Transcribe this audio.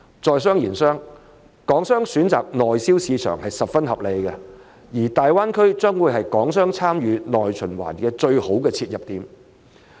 在商言商，港商選擇內銷市場是十分合理的，而大灣區將會是港商參與內循環的最佳切入點。